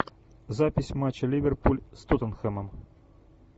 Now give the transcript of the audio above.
запись матча ливерпуль с тоттенхэмом